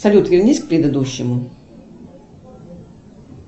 салют вернись к предыдущему